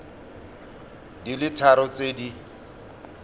di le tharo tse di